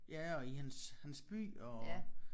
Ja og i hans hans by og